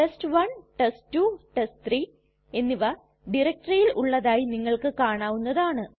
test one test two test three എന്നിവ ടയരക്റ്റെറിയിൽ ഉള്ളതായി നിങ്ങൾക്ക് കാണാവുന്നതാണ്